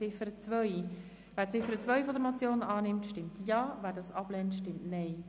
Wer die Ziffer 2 der Motion annimmt, stimmt Ja, wer diese ablehnt, stimmt Nein.